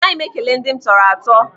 Anaghị m ekele ndị m tọrọ atọ.